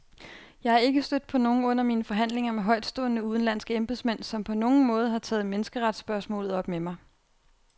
Jeg er ikke stødt på nogen under mine forhandlinger med højtstående, udenlandske embedsmænd, som på nogen måde har taget menneskeretsspørgsmålet op med mig.